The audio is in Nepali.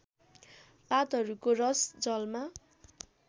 पातहरूको रस जलमा